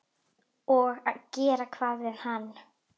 Og gera hvað við hann?